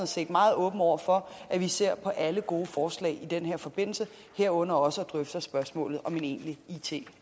set meget åben over for at vi ser på alle gode forslag i denne forbindelse herunder også drøfter spørgsmålet om en egentlig it